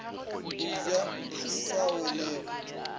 o ja di sa welego